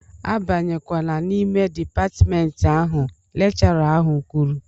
A banyekwana n'ime dịpatmentị ahụ! Lekchọra ahụ kwuru